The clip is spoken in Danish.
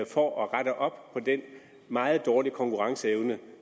for at rette op på den meget dårlige konkurrenceevne